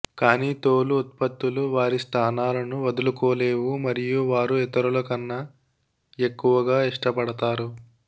కానీ తోలు ఉత్పత్తులు వారి స్థానాలను వదులుకోలేవు మరియు వారు ఇతరులకన్నా ఎక్కువగా ఇష్టపడతారు